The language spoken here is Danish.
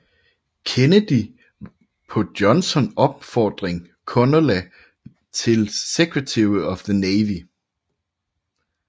Kennedy på Johnson opfordring Connally til Secretary of the Navy